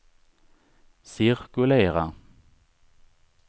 cirkulera